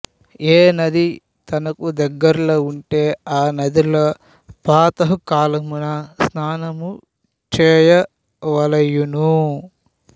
ఏ నది తనకు దగ్గరలో వుంటే ఆ నదిలో ప్రాతఃకాలమున స్నానము చేయవలయును